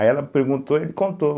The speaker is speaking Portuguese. Aí ela perguntou e ele contou.